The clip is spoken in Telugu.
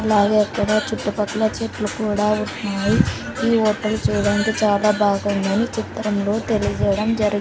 అలాగే ఇక్కడ చుట్టుపక్కల చెట్లు కూడా ఉన్నాయి ఈ హోటల్ చూడడానికి చాలా బాగుందని చిత్రంలో తెలియజేయడం జరి.